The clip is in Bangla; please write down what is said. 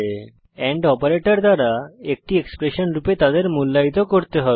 এন্ড অপারেটর দ্বারা একটি এক্সপ্রেশন রূপে তাদের মূল্যায়িত করতে হবে